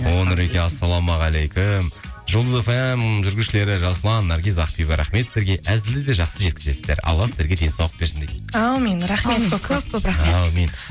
о нұреке ассалаумағалейкум жұлдыз фм жүргізушілері жасұлан наргиз ақбибі рахмет сіздерге әзілді де жақсы жеткізесіздер алла сіздерге денсаулық берсін дейді әумин рахмет көп көп көп көп рахмет әумин